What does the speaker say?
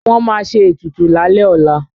Wọ́n ma ṣe ètùtù lálẹ́ ọlá